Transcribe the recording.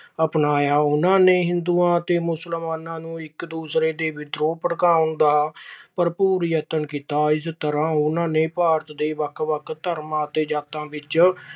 ਅਪਣਾਇਆ। ਉਹਨਾਂ ਨੇ ਹਿੰਦੂਆਂ ਅਤੇ ਮੁਸਲਮਾਨਾਂ ਨੂੰ ਇਕ ਦੂਜੇ ਦੇ ਵਿਰੁੱਧ ਭੜਕਾਉਣ ਦਾ ਭਰਪੂਰ ਯਤਨ ਕੀਤਾ। ਇਸ ਤਰ੍ਹਾਂ ਉਹਨਾਂ ਨੇ ਭਾਰਤ ਦੇ ਵੱਖ-ਵੱਖ ਧਰਮਾਂ ਅਤੇ ਜਾਤਾਂ